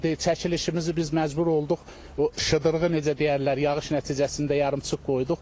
Çəkilişimizi biz məcbur olduq o şıdırğı necə deyərlər, yağış nəticəsində yarımçıq qoyduq.